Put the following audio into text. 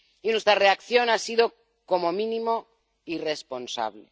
Nuestra reacción ha sido, como mínimo, irresponsable.